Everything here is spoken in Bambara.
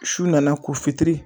Su nana ko fitiri